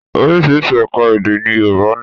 Oríṣiríṣi ẹ̀ka-èdè ni Yorùbá ní.